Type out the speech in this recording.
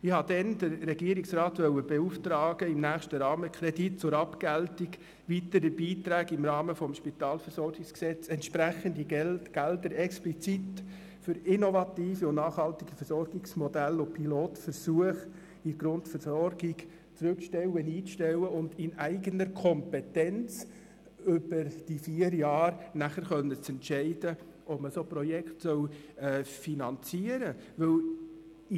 Ich wollte damals den Regierungsrat beauftragen, im nächsten Rahmenkredit zur Abgeltung weiterer Beiträge im Rahmen des SpVG entsprechende Mittel explizit für innovative und nachhaltige Versorgungsmodelle und Pilotversuche in der Grundversorgung einzustellen und in eigener Kompetenz während vier Jahren zu entscheiden, ob man solche Projekte finanzieren will.